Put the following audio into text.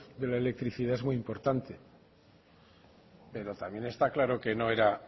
de la electricidad es muy importante pero también está claro que no era